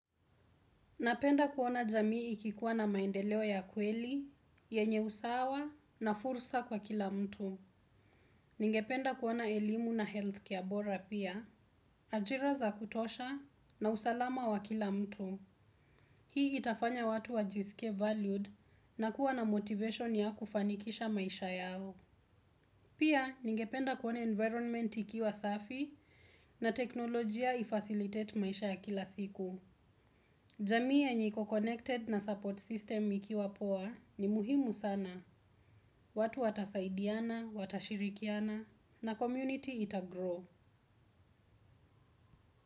Napenda kuona jamii ikiwa na maendeleo ya kweli, yenye usawa na fursa kwa kila mtu. Ningependa kuona elimu na healthcare bora pia, ajira za kutosha na usalama wa kila mtu. Hii itafanya watu wajisikie valued na kuwa na motivation ya kufanikisha maisha yao. Pia, ningependa kuona environment ikiwa safi na teknolojia ifacilitate maisha ya kila siku. Jamii yenye iko connected na support system ikiwa poa ni muhimu sana. Watu watasaidiana, watashirikiana na community itagrow.